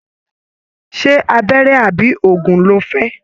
Ṣe abẹrẹ àbí òògùn ló fẹ?